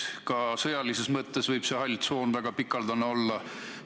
Ja ka sõjalises mõttes võib see hall tsoon väga lai olla.